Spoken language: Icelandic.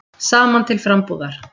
Saman til frambúðar.